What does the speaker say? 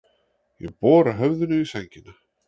Ég bora höfðinu í sængina.